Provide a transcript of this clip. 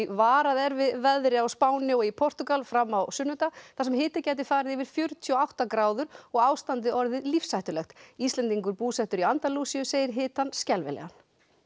varað er við veðri á Spáni og í Portúgal fram á sunnudag þar sem hiti gæti farið yfir fjörutíu og átta gráður og ástandið orðið lífshættulegt Íslendingur búsettur í Andalúsíu segir hitann skelfilegan